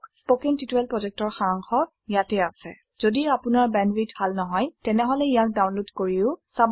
কথন শিক্ষণ প্ৰকল্পৰ সাৰাংশ ইয়াত আছে যদি আপোনাৰ ব্যান্ডউইডথভাল নহয় তেনেহলে ইয়াক ডাউনলোড কৰি চাব পাৰে